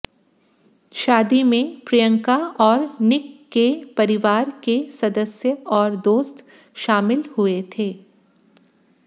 शादी में प्रियंका और निक के परिवार के सदस्य और दोस्त शामिल हुए थे